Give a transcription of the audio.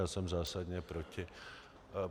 Já jsem zásadně proti.